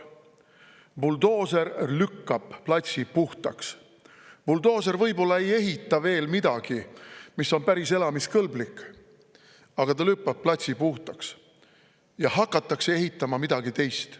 Buldooser lükkab platsi puhtaks, buldooser võib-olla ei ehita veel midagi, mis on päris elamiskõlblik, aga ta lükkab platsi puhtaks ja hakatakse ehitama midagi teist.